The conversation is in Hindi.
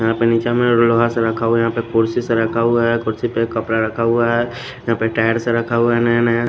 यहां पे नीचा में लोहा सा रखा हुआ है यहां पे कुर्सी सा रखा हुआ है कुर्सी पे कपड़ा रखा हुआ है यहां पे टायर से रखा हुआ है नया नया--